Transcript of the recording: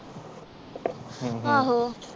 ਹਮ ਹਮ ਆਹੋ